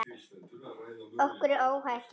Okkur er óhætt hjá þér.